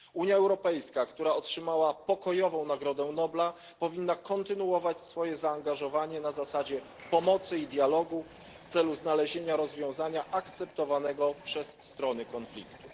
Unia Europejska, która otrzymała Pokojową Nagrodą Nobla, powinna kontynuować swoje zaangażowanie na zasadzie pomocy i dialogu w celu znalezienia rozwiązania akceptowanego przez strony konfliktu.